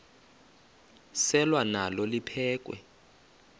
selwa nalo liphekhwe